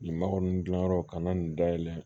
Nin makɔnin gilanyɔrɔw ka na nin da yɛlɛ